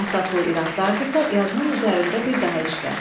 Əsaslı iradlardırsə, yazının üzərində bir daha işlə.